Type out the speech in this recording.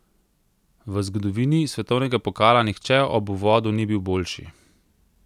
V zgodovini svetovnega pokala nihče ob uvodu ni bil boljši!